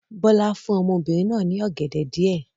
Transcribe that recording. Bọ́lá fún obìnrin náà ní ọ̀gẹ̀dẹ̀ díẹ̀.